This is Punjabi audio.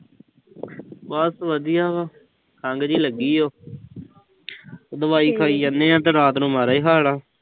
ਬਸ ਵਧੀਆ ਵਾ। ਖੰਘ ਜੀ ਲੱਗੀ ਆ। ਉਹ ਦਵਾਈ ਪਾਈ ਆਨੇ ਆਂ ਤੇ ਰਾਤ ਨੂੰ ਮਾੜਾ ਈ ਹਾਲ ਆ।